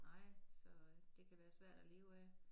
Nej så det kan være svært at leve af